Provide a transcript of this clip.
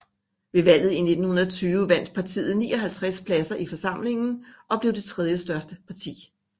Ved valget i 1920 vandt partiet 59 pladser i forsamlingen og blev det tredjestørste parti